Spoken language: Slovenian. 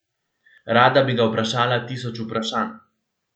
Rada bi ga vprašala tisoč vprašanj.